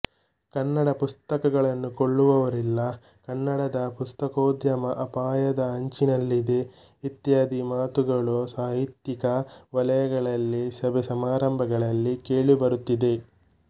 ಕನ್ನಡ ಪುಸ್ತಕಗಳನ್ನು ಕೊಳ್ಳುವವರಿಲ್ಲ ಕನ್ನಡದ ಪುಸ್ತಕೋದ್ಯಮ ಅಪಾಯದ ಅಂಚಿನಲ್ಲಿದೆ ಇತ್ಯಾದಿ ಮಾತುಗಳು ಸಾಹಿತ್ಯಿಕ ವಲಯಗಳಲ್ಲಿ ಸಭೆ ಸಮಾರಂಭಗಳಲ್ಲಿ ಕೇಳಿ ಬರುತ್ತಿದೆ